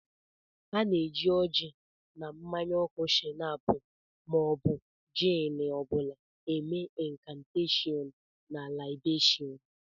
A na-eji oji na mmanya oku shinap ma ọ bụ jin ọ bụla eme inkanteshon na laibeshun.